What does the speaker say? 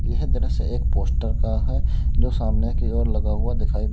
यह दृश्य एक पोस्टर का है जो सामने की ओर लगा हुआ दिखाई दे--